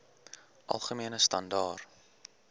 algemene standaar